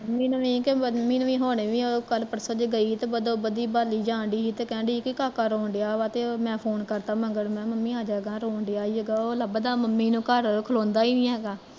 mummy ਨੂੰ ਵੀ ਕਿ ਮਮੀ ਨੂੰ ਵੀ ਕੱਲ ਪਰਸੋਂ ਗਈ ਤੇ ਬਦੋ ਬਦੀ ਬੋਲੀ ਜਾਣ ਡਈ, ਕਹਿਣ ਡਈ ਸੀ ਕਿ ਕਾਕਾ ਰੋਣ ਡਿਆ ਵਾ ਤੇ ਮੈਂ phone ਕਰਤਾ ਮਗਰ ਮੈਂ ਕਿਹਾ ਮੰਮੀ ਆਜਾਂ, ਰੋਣ ਡਿਆਗਾ, ਓਹ ਲੱਭਦਾ ਮੰਮੀ ਨੂੰ, ਘਰ ਖਲੋਂਦਾ ਨੀ ਹੈਗਾ